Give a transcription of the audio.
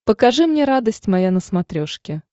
покажи мне радость моя на смотрешке